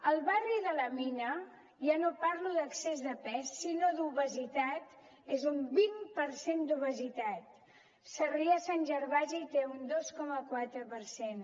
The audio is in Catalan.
al barri de la mina ja no parlo d’excés de pes sinó d’obesitat és un vint per cent d’obesitat sarrià sant gervasi en té un dos coma quatre per cent